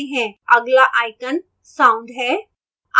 अगला icon sound है